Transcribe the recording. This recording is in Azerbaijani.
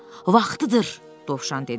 Vaxtıdır, Dovşan dedi.